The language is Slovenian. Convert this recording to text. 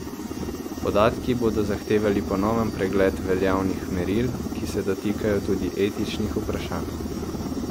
Podatki bodo zahtevali ponoven pregled veljavnih meril, ki se dotikajo tudi etičnih vprašanj.